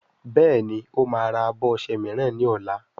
Béèni o má rà abọ ọṣẹ míràn ní ol.